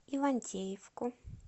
ивантеевку